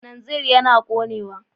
Kananzir yana ƙonewa.